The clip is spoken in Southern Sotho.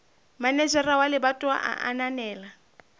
manejara wa lebatowa a ananela